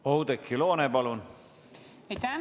Oudekki Loone, palun!